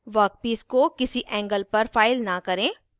workpiece को किसी angle पर फाइल न करें